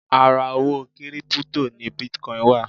Ara owó kírípútò ni bitcon wà